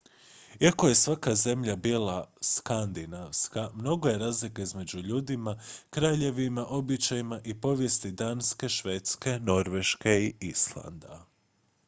"iako je svaka zemlja bila "skandinavska" mnogo je razlika među ljudima kraljevima običajima i povijesti danske švedske norveške i islanda.